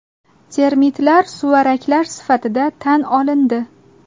Termitlar suvaraklar sifatida tan olindi.